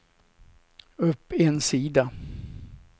upp en sida